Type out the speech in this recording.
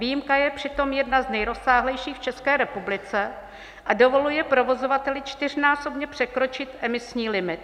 Výjimka je přitom jedna z nejrozsáhlejších v České republice a dovoluje provozovateli čtyřnásobně překročit emisní limit.